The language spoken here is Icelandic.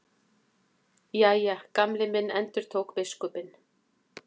Jæja, Gamli minn endurtók biskupinn.